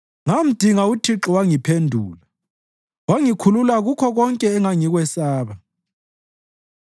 Ngamdinga uThixo wangiphendula; wangikhulula kukho konke engangikwesaba.